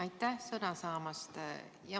Aitäh sõna andmast!